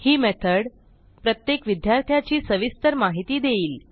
ही method प्रत्येक विद्यार्थ्याची सविस्तर माहिती देईल